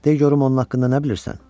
Dey görüm onun haqqında nə bilirsən?